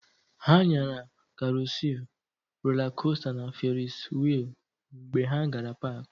Ha nyara karusịl, rolaa kosta na ferisi wịịlụ mgbe ha gara paakị.